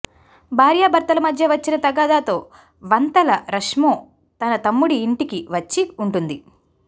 భార్యభర్తల మధ్య వచ్చిన తగాదాతో వంతల రస్మో తన తమ్ముడి ఇంటికి వచ్చి ఉంటుంది